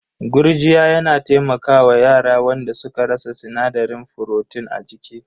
Gurjiya yana taimaka wa yara wanda suka rasa sinadarin furotin a jiki.